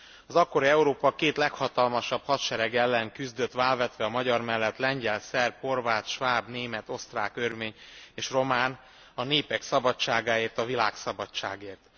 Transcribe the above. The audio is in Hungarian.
Az akkori Európa két leghatalmasabb hadserege ellen küzdött vállvetve a magyar mellett a lengyel, szerb, horvát, sváb, német, osztrák, örmény és román a népek szabadságáért, a világszabadságért.